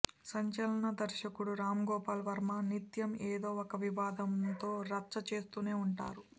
సంచలన దర్శకుడు రామ్ గోపాల్ వర్మ నిత్యం ఏదో ఒక వివాదంతో రచ్చ చేస్తునే వుంటారు